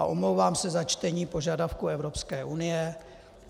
A omlouvám se za čtení požadavků Evropské unie.